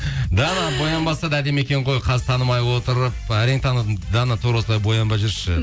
дана боянбаса да әдемі екен ғой қазір танымай отырып әрең таныдым дана тура осылай боянбай жүрші